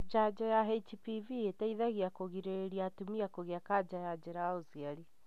Janjo ya HPV iteithagia kũgirĩrĩria atumia kũgĩa kanja ya njĩra ya ũciari.